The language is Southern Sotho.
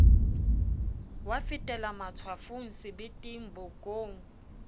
wa fetela matshwafong sebeteng bokong